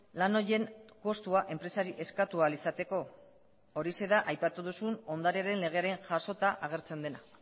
lan horien kostua enpresari eskatu ahal izateko horixe da aipatu duzun ondarearen legearen jasota agertzen dena